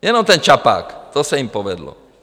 Jenom ten Čapák, to se jim povedlo.